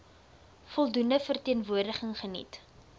voldoende verteenwoordiging geniet